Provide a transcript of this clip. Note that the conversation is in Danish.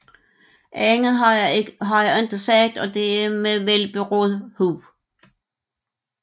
Andet har jeg ikke sagt og det er med velberåd hu